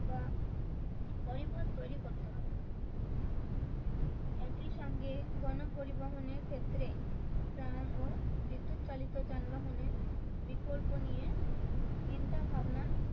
বা তৈরী করতে হবে। একি সঙ্গে গণপরিবহনের ক্ষেত্রে ট্রাম ও বিদ্যুৎ চালিত যানবাহনে বিকল্প নিয়ে চিন্তা ভাবনা